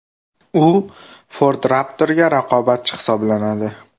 U Ford Raptor’ga raqobatchi hisoblanadi.